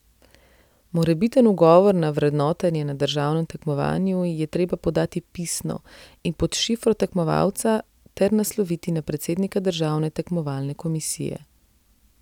Morebiten ugovor na vrednotenje na državnem tekmovanju je treba podati pisno in pod šifro tekmovalca ter nasloviti na predsednika državne tekmovalne komisije.